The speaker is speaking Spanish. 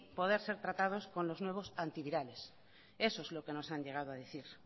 poder ser tratado con los nuevos antivirales eso es lo que nos han llegado a decir